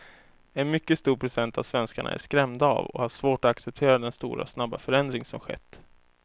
En mycket stor procent av svenskarna är skrämda av och har svårt att acceptera den stora och snabba förändring som skett.